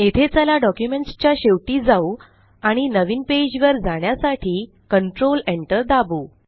येथे चला डॉक्युमेंट्स च्या शेवटी जाऊ आणि नवीन पेज वर जाण्यासाठी कंट्रोल Enter दाबु